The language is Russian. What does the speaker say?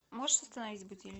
можешь установить будильник